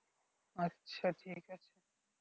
আচ্ছা ঠিক আছে